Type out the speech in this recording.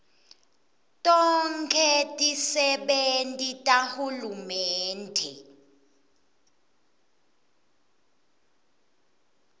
tonkhe tisebenti tahulumende